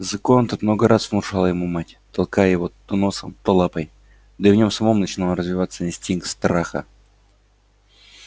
закон этот много раз внушала ему мать толкая его то носом то лапой да и в нем самом начинал развиваться инстинкт страха